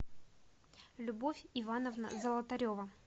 любовь ивановна золотарева